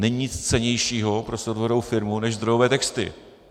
Není nic cennějšího pro softwarovou firmu, než zdrojové texty.